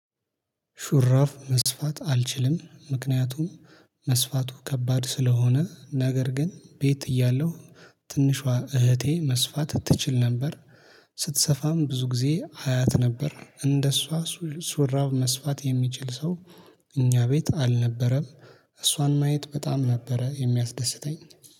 ሹራፍ መስፋት አልችልም ምክንያቱም መስፋቱ ከባድ ስለሆነ ነገር ግን ቤት እያለሁ ትንሿ እህቴ መስፋት ትችል ነበር ስትሰፋም ብዙ ጊዜ አያት ነበር እንደሷ ሹራብ መስፋት የሚችል ሰው እኛ ቤት አልነበረም። እሷን ማየት በጣም ነበረ የሚያስደስተኝ